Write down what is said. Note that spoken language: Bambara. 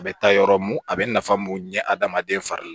A bɛ taa yɔrɔ mun a bɛ nafa mun ɲɛ hadamaden fari la